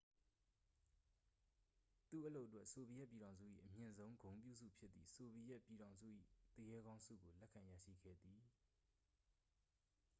"သူ့အလုပ်အတွက် ဆိုဗီယက်ပြည်ထောင်စု၏ အမြင့်ဆုံ ဂုဏ်ပြုဆု ဖြစ်သည့် "ဆိုဗီယက်ပြည်ထောင်စု၏ သူရဲကောင်း" ဆုကို လက်ခံရရှိခဲ့သည်။